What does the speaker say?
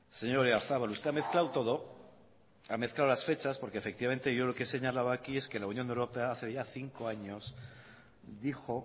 señor oyarzabal usted ha mezclado todo ha mezclado las fechas porque efectivamente yo lo que señalaba aquí es que la unión europea hace ya cinco años dijo